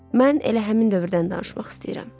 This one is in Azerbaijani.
Mən elə həmin dövrdən danışmaq istəyirəm.